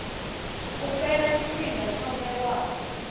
u fhela tshifhinga tsho vhewaho